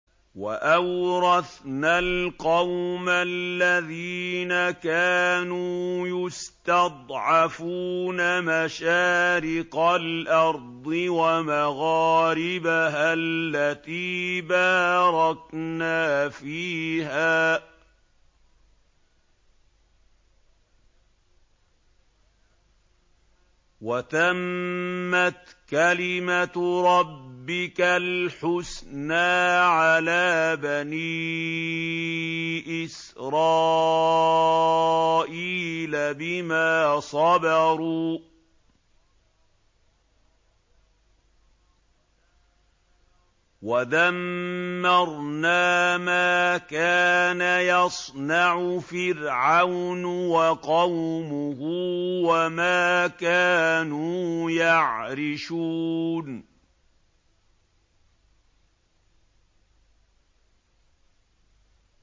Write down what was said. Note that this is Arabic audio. وَأَوْرَثْنَا الْقَوْمَ الَّذِينَ كَانُوا يُسْتَضْعَفُونَ مَشَارِقَ الْأَرْضِ وَمَغَارِبَهَا الَّتِي بَارَكْنَا فِيهَا ۖ وَتَمَّتْ كَلِمَتُ رَبِّكَ الْحُسْنَىٰ عَلَىٰ بَنِي إِسْرَائِيلَ بِمَا صَبَرُوا ۖ وَدَمَّرْنَا مَا كَانَ يَصْنَعُ فِرْعَوْنُ وَقَوْمُهُ وَمَا كَانُوا يَعْرِشُونَ